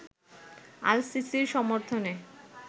আল-সিসির সমর্থনে